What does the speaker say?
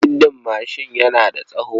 Siddin mashin yana da tsawo.